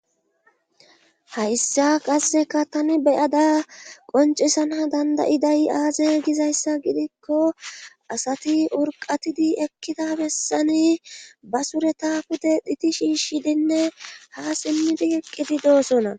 Hayssa qasseka tani beyada qoncisana dandayidayi aaze gizayssa gidikko asati urqatidi ekkida bessani basure tafude dhiti shiishi dinne ha simmidi eqqidi doosona